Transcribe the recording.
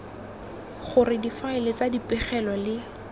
gore difaele tsa dipegelo le